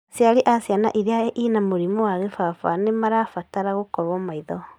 Aciari a ciana iria ina mũrimũ wa kĩbaba nĩ marabatara gũkorũo maitho